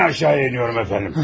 Mən aşağı düşürəm, cənab.